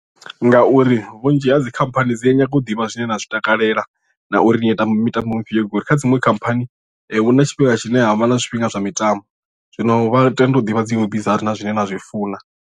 Ngauri vhunzhi ha dzikhamphani dzi a nyanga u ḓivha zwine na zwi takalela na uri ni a tamba mitambo mufhio ngauri kha dziṅwe khamphani hu na tshifhinga tshine havha na zwifhinga zwa mitambo zwino vha tenda u ḓivha dzi weak dzaṋu na zwine na zwi funa.